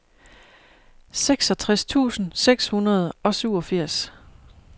seksogtres tusind seks hundrede og syvogfirs